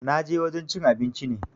Na je wajen cin abinci ne